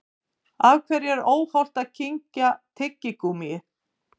Af hverju er óhollt að kyngja tyggigúmmíi?